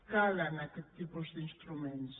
calen aquest tipus d’instruments